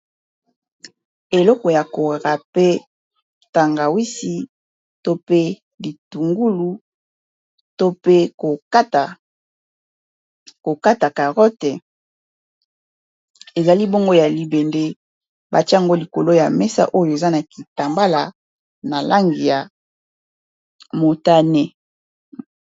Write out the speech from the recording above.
eleko ya k raper tangawisi to pe litungulu to kokata carotte ezali bongo ya libende batia ngo likolo ya mesa oyo eza na kitambala na langi ya motane.